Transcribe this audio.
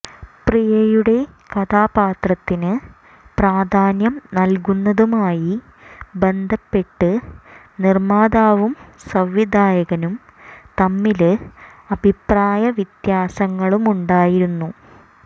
പ്രിയയുടെ കഥാപാത്രത്തിന് പ്രാധാന്യം നല്കുന്നതുമായി ബന്ധപ്പെട്ട് നിര്മ്മാതാവും സംവിധായകനും തമ്മില് അഭിപ്രായ വ്യത്യാസങ്ങളുമുണ്ടായിരുന്നു